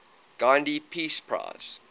gandhi peace prize